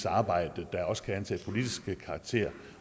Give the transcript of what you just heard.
arbejde der også kan antage politisk karakter